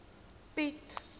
piet